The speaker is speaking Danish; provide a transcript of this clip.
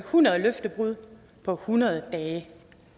hundrede løftebrud på hundrede dage